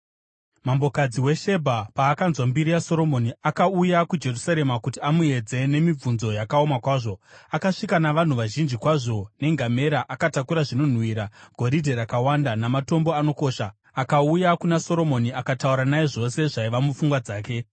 Mambokadzi weShebha paakanzwa mbiri yaSoromoni, akauya kuJerusarema kuti amuedze nemibvunzo yakaoma kwazvo. Akasvika navanhu vazhinji kwazvo nengamera akatakura zvinonhuhwira, goridhe rakawanda, namatombo anokosha, akauya kuna Soromoni akataura naye zvose zvaiva mupfungwa dzake.